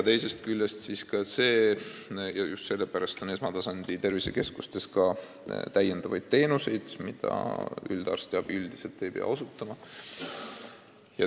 Just sellepärast pakutakse esmatasandi tervisekeskustes ka täiendavaid teenuseid, mida üldarstiabi üldiselt ei pea osutama.